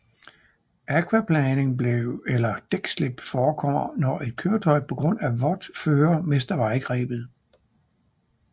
Akvaplaning eller dækslip forekommer når et køretøj på grund af vådt føre mister vejgrebet